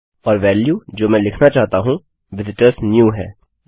और वेल्यू जो मैं लिखना चाहता हूँvisitorsnew है